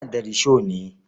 Ina da risho ne.